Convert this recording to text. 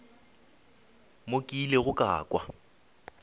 mo ke ilego ka kwa